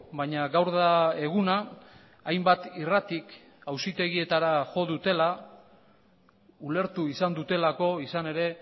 baina gaur da eguna hainbat irratik auzitegietara jo dutela ulertu izan dutelako izan ere